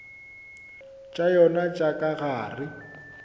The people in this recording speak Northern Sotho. tša yona tša ka gare